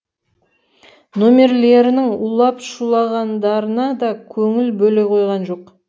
немерелерінің улап шулағандарына да көңіл бөле қойған жоқ